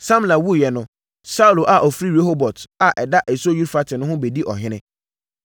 Samla wuiɛ no, Saulo a ɔfiri Rehobot a ɛda asuo Eufrate ho no bɛdii ɔhene.